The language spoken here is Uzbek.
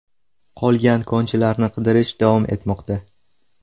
Qolgan konchilarni qidirish davom etmoqda.